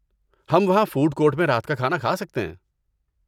ہم وہاں food court میں رات کا کھانا کھا سکتے ہیں۔